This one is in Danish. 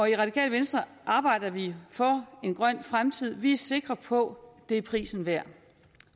det radikale venstre arbejder vi for en grøn fremtid vi er sikre på det er prisen værd